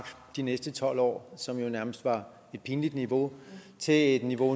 de næste tolv år som jo nærmest var et pinligt niveau til et niveau